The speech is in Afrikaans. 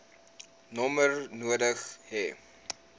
nommer nodig hê